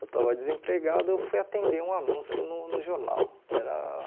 Eu estava desempregado, eu fui atender um anúncio no no jornal. Era